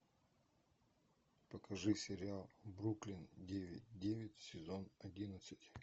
покажи сериал бруклин девять девять сезон одиннадцать